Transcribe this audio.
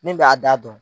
Min b'a da dɔn